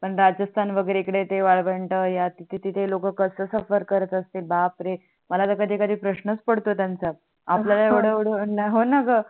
किती ते लोक कस suffer करत असतील बापरे मला तर कधी कधी प्रशनच पडतो त्यांच्या आपल्या येवडया वेळ हो णा ग